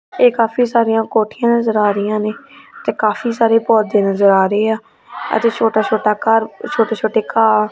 ਇਹ ਕਾਫੀ ਸਾਰੀਆਂ ਕੋਠੀਆਂ ਨਜ਼ਰ ਆ ਰਹੀਆਂ ਨੇ ਤੇ ਕਾਫੀ ਸਾਰੇ ਪੌਦੇ ਨਜ਼ਰ ਆ ਰਹੇ ਆ ਇਥੇ ਛੋਟਾ ਛੋਟਾ ਘਰ ਛੋਟੇ ਛੋਟੇ ਘਾਰ--